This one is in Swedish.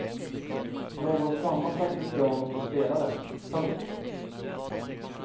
Någons mamma satt vid pianot och spelade. punkt